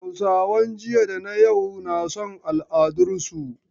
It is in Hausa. Hausawan jiya da na yau na son al'adarsu.